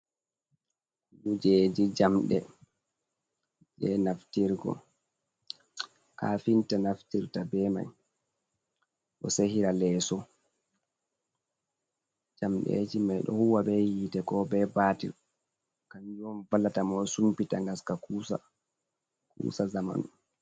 Kujeji jamɗe, je naftirgo. Kafinta naftirta be mai o sehira leeso. Jamɗeeji mai ɗo huwa be yiite, ko be baatir. Kanjum on vallata mo sumbita ngaska kuusa, kuusa zamanu.